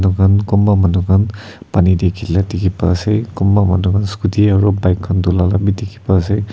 han kunba manu khan pani tae khila dikhipa ase kunba manu khan scooty aro bike khan dhula labi dikhi pa ase.